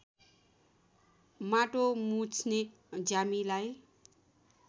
माटो मुछ्ने ज्यामीलाई